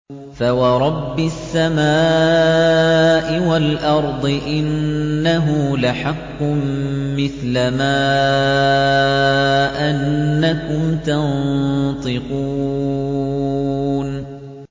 فَوَرَبِّ السَّمَاءِ وَالْأَرْضِ إِنَّهُ لَحَقٌّ مِّثْلَ مَا أَنَّكُمْ تَنطِقُونَ